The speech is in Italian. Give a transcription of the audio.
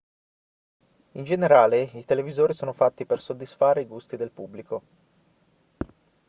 in generale i televisori sono fatti per soddisfare i gusti del pubblico